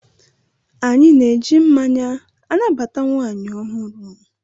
Anyị na-eji mmanya anabata nwaanyị ọhụrụ.